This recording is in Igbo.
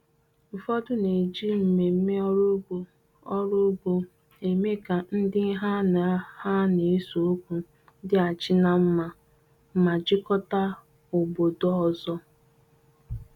Ụfọdụ na-eji mmemme ọrụ ugbo ọrụ ugbo eme ka ndị ha na ha n'eseokwu dịghachi ná mma ma jikọta obodo ọzọ.